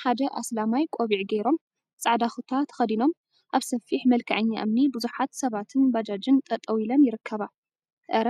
ሓደ አስላማይ ቆቢዕ ገይሮም ፃዕዳ ኩታ ተከዲኖም አብ ሰፊሕ መልክዐኛ እምኒ ቡዙሓት ሰባትን ባጃጅን ጠጠወ ኢለን ይርከባ፡፡ አረ!